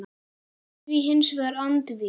er því hins vegar andvíg.